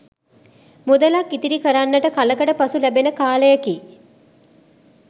මුදලක්‌ ඉතිරි කරන්නට කලකට පසු ලැබෙන කාලයකි.